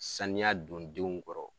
Saniya don denw kɔrɔ.